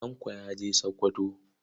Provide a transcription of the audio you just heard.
Tanko ya je Sakkwato.